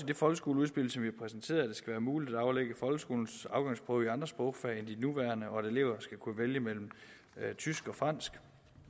det folkeskoleudspil som vi præsenterede skal være muligt at aflægge folkeskolens afgangsprøve i andre sprogfag end de nuværende og at elever skal kunne vælge mellem tysk og fransk